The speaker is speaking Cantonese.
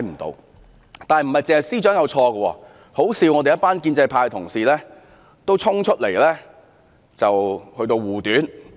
然而，不止司長有錯，可笑的是，一群建制派同事也衝出來護短。